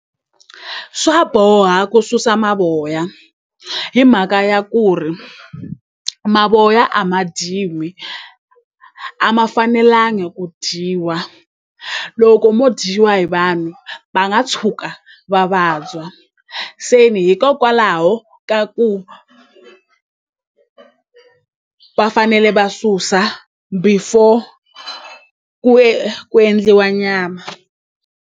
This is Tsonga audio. Swa boha ku susa mavoya hi mhaka ya ku ri mavoya a ma dyiwi a ma fanelangi ku dyiwa loko mo dyiwa hi vanhu va nga tshuka va vabya se ni hikokwalaho ka ku va fanele va susa before ku ku endliwa nyama.